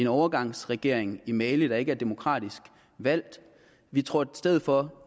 overgangsregering i mali der ikke er demokratisk valgt vi tror i stedet for at